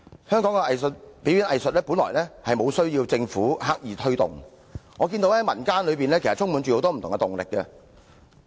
香港的表演藝術本來無需政府刻意推動，以我所見，民間充滿了很多不同的動力。